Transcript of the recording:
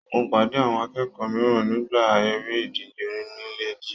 Mo pàdé àwọn akẹ́kọ̀ọ́ mìíràn nígbà eré ìdíje onílè jile.